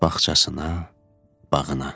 Bağçasına, bağına.